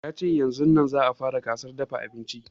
Ya ce yaznun za a fara gasar dafa abinci